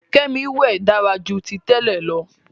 Kemi wẹ dára jù tí tèlé ló.